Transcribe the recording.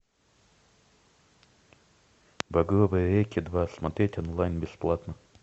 багровые реки два смотреть онлайн бесплатно